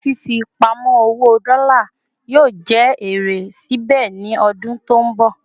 Ǹjẹ́ fífi pamo owó dola yóò jẹ èrè síbè ni odun tó nbọ